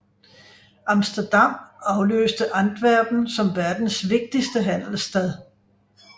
Amsterdam afløste Antwerpen som verdens vigtigste handelsstad